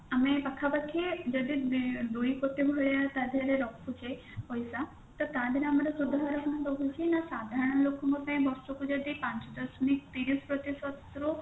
ପାଖାପାଖି ଯଦି ଦୁଇ କୋଟି ଭଳିଆ ତ ତାଦେହରେ ରହୁଛି ତ ତାଦେହରେ ଆମର ସୁଧାର ହାର ଆମର କଣ ରହୁଛି ସାଧାରଣ ଲୋକଙ୍କ ପାଇଁ ବର୍ଷକୁ ଯଦି ପାଞ୍ଚ ଦଶମିକ ତିରିଶ ପ୍ରତିଷଦରୁ